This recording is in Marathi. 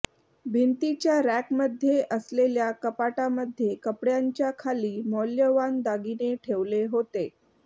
भिंतीच्या रॅकमध्ये असलेल्या कपाटामध्ये कपड्यांच्या खाली मौल्यवान दागिने ठेवले होते